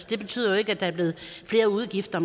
det betyder jo ikke at der er blevet flere udgifter